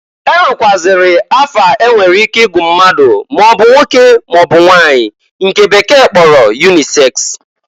E nwekwụazịrị afa enwere ike igu mmadụ maọbụ nwoke maọbụ nwanyị nke bekee kporo yuniseks.